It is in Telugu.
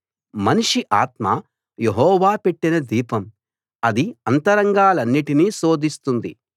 మనిషి ఆత్మ యెహోవా పెట్టిన దీపం అది అంతరంగాలన్నిటినీ శోధిస్తుంది